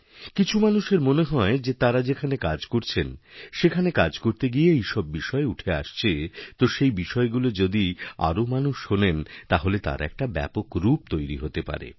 কিছু মানুষের মনে হয় যে তাঁরা যেখানে কাজ করছেনসেখানে কাজ করতে গিয়ে এইসব বিষয় উঠে আসছে তো সেই বিষয়গুলি যদি আরও মানুষ শোনেনতাহলে তার একটা ব্যাপক রূপ তৈরি হতে পারে